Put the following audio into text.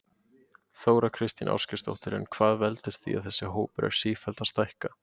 Þóra Kristín Ásgeirsdóttir: En hvað veldur því að þessi hópur er sífellt að stækka?